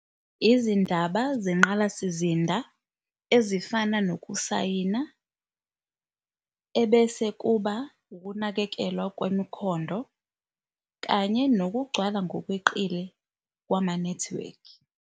Izindaba zenqalasizinda ezifana nokusayina, ebese kuba ukunakekelwa kwemikhondo kanye nokugcwala ngokweqile kwamanethiwekhi.